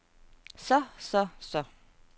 så så så